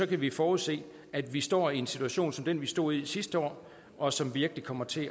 kan vi forudse at vi står i en situation som den vi stod i sidste år og som virkelig kommer til